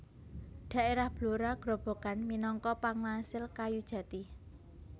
Daerah Blora Grobogan minangka pangasil kayu jati